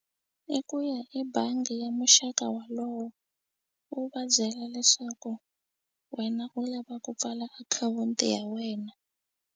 I ku ya i bangi ya muxaka wolowo u va byela leswaku wena u lava ku pfala akhawunti ya wena.